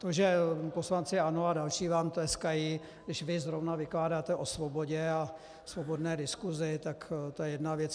To, že poslanci ANO a další vám tleskají, když vy zrovna vykládáte o svobodě a svobodné diskusi, tak to je jedna věc.